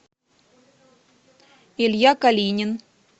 илья калинин